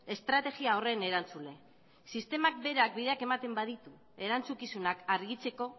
estrategia horren erantzule sistema berak bideak ematen baditu erantzukizunak argitzeko